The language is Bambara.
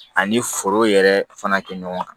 Ani foro yɛrɛ fana kɛ ɲɔgɔn kan